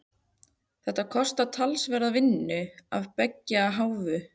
Þetta kostar talsverða vinnu af beggja hálfu.